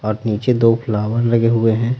और नीचे दो फ्लावर लगे हुए हैं।